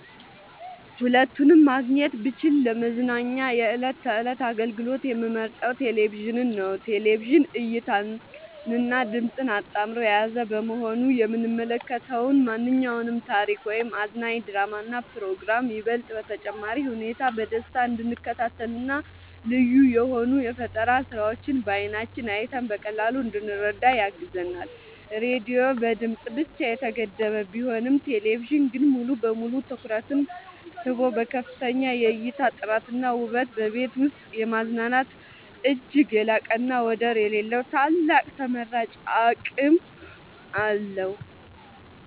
ሁለቱንም ማግኘት ብችል ለመዝናኛ የዕለት ተዕለት አገልግሎት የምመርጠው ቴሌቪዥንን ነው። ቴሌቪዥን እይታንና ድምጽን አጣምሮ የያዘ በመሆኑ የምንመለከተውን ማንኛውንም ታሪክ ወይም አዝናኝ ድራማና ፕሮግራም ይበልጥ በተጨባጭ ሁኔታ በደስታ እንድንከታተልና ልዩ የሆኑ የፈጠራ ስራዎችን በዓይናችን አይተን በቀላሉ እንድንረዳ ያግዘናል። ራዲዮ በድምጽ ብቻ የተገደበ ቢሆንም ቴሌቪዥን ግን ሙሉ በሙሉ ትኩረትን ስቦ በከፍተኛ የእይታ ጥራትና ውበት በቤት ውስጥ የማዝናናት እጅግ የላቀና ወደር የሌለው ታላቅ ተመራጭ አቅም አለው።